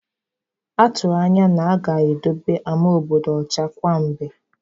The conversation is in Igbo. A tụrụ anya na-aga edobe ama obodo ọcha kwa mgbe.